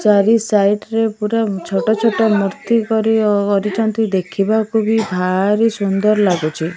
ଚାରି ସାଇଡରେ ପୁରା ଛୋଟ ଛୋଟ ମୁର୍ତ୍ତି କରି କରୁଛିନ୍ତି ଦେଖିବାକୁବି ଭାରି ସୁନ୍ଦର ଲାଗୁଛି।